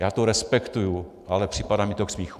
Já to respektuji, ale připadá mi to k smíchu.